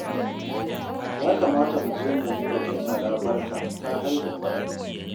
Ya kamata mu je mu yi wa Jummala barka ta haihu fa